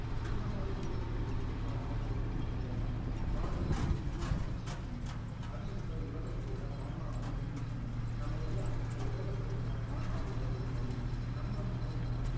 உன்ன மாதிரி தூரத்துல இருந்து பாக்குற பொருளும் கிடையாது காதல் ஒரு உருமாறும் சக்தி அது இந்த உலகத்தோட ஆன்மாவை improve பண்ணும் நம்ம எல்லாம் இந்த உலகத்தோட ஆன்மாவோட ஒரு பகுதி நம்ம முன்னேறுனா